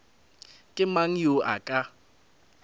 ke mang yo a ka